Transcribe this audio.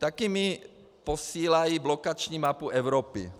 Taky mi posílají blokační mapu Evropy.